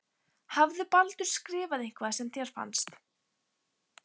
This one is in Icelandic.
Hafði Baldur skrifað eitthvað sem þér fannst.